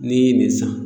N'i ye nin san